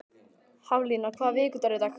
Haflína, hvaða vikudagur er í dag?